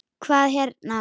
Hvað hérna.